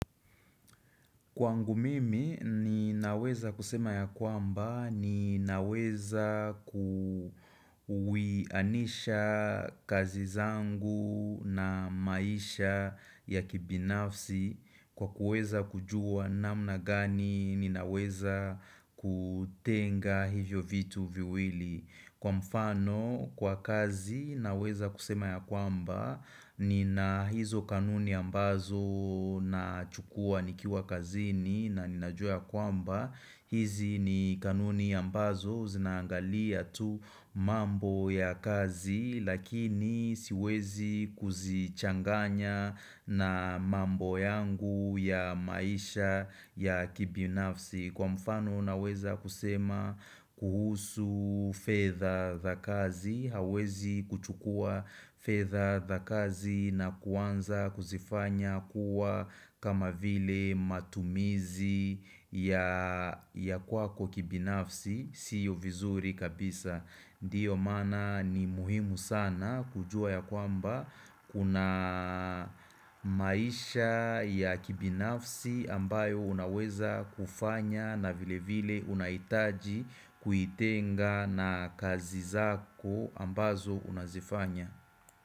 Kwangu mimi ni naweza kusema ya kwamba ni naweza kuwianisha kazi zangu na maisha ya kibinafsi kwa kuweza kujua namna gani ni naweza kutenga hivyo vitu viwili. Kwa mfano kwa kazi naweza kusema ya kwamba ni na hizo kanuni ambazo na chukua nikiwa kazini na ninajua ya kwamba hizi ni kanuni ambazo zinaangalia tu mambo ya kazi lakini siwezi kuzichanganya na mambo yangu ya maisha ya kibi nafsi Kwa mfano unaweza kusema kuhusu fedha za kazi, hauwezi kuchukua fedha za kazi na kuanza kuzifanya kuwa kama vile matumizi ya kwako kibinafsi, siyo vizuri kabisa. Ndiyo mana ni muhimu sana kujua ya kwamba kuna maisha ya kibinafsi ambayo unaweza kufanya na vile vile unahitaji kuitenga na kazi zako ambazo unazifanya.